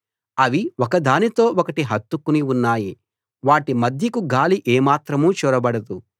అవి ఒకదానితో ఒకటి హత్తుకుని ఉన్నాయి వాటి మధ్యకు గాలి ఏమాత్రం చొరబడదు